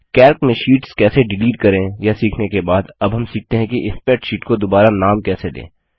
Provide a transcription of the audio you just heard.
Calc में sheets कैसे delete करें यह सीखने के बाद अब हम सीखते हैं कि स्प्रैडशीट को दुबारा नाम कैसे दें